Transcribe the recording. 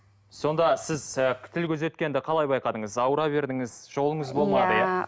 сонда сіз ы тіл көз өткенді қалай байқадыңыз ауыра бердіңіз жолыңыз болмады иә